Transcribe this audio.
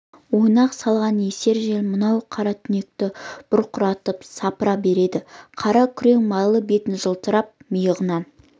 ойнақ салған есер жел мынау қара түнекті бұрқыратып сапыра береді қара күрең майлы беті жылтырап миығынан